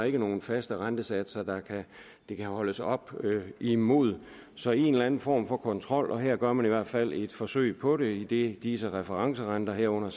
ikke nogen faste rentesatser det kan holdes op imod så en eller anden form for kontrol må her gør man i hvert fald et forsøg på det idet disse referencerenter herunder